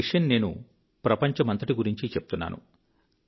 ఈ విషయం నేను ప్రపంచమంతటి గురించి చెప్తున్నాను